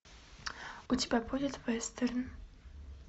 у тебя будет вестерн